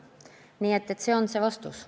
Nii et selline vastus.